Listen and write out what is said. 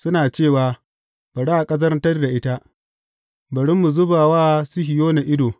Suna cewa, Bari a ƙazantar da ita, bari mu zuba wa Sihiyona ido.